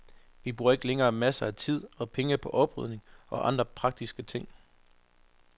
Vi bruger ikke længere masser af tid og penge på oprydning og andre praktiske ting.